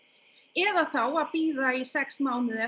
eða þá að bíða í sex mánuði